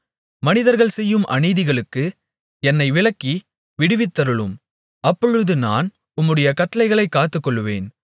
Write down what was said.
மனிதர்கள் செய்யும் அநீதிகளுக்கு என்னை விலக்கி விடுவித்தருளும் அப்பொழுது நான் உம்முடைய கட்டளைகளைக் காத்துக்கொள்ளுவேன்